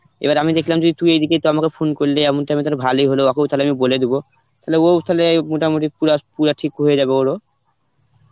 এবার আমি দেখলাম যে তুই যেহেতু আমাকে ফোন করলি এমন এখন তালে ভালোই হলো ওকেও তালে আমি বলে দিব মানে ও ওখানে মোটামুটি পুরা ঠিক হয়ে যাবে ওরও